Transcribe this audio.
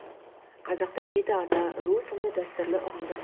қазақта жеті ата ру сынды дәстүрлі ұғымдар